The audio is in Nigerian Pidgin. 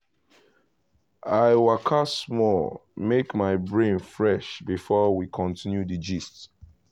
i waka small make my brain fresh before we continue di gist.